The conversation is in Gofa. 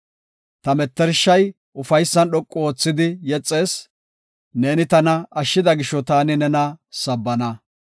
Ta mettershay ufaysan dhoqu oothidi yexees; neeni tana ashshida gisho taani nena sabbana.